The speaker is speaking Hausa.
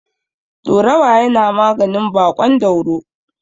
Ɗorawa yana maganin baƙon dauro.